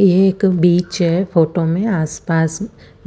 ये एक बिच है फोटो में आस पास